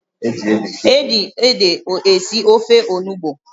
Eji ede esi ofe Onugbu